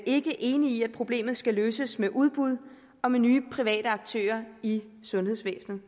ikke enige i at problemet skal løses med udbud og nye private aktører i sundhedsvæsenet